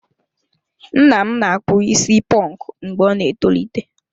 Nna m na-akpụ isi ponku mgbe ọ ná-etolite.